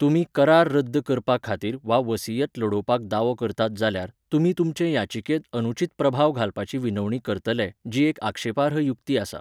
तुमी करार रद्द करपा खातीर वा वसीयत लडोवपाक दावो करतात जाल्यार, तुमी तुमचे याचिकेंत अनुचित प्रभाव घालपाची विनवणी करतले, जी एक आक्षेपार्ह युक्ती आसा.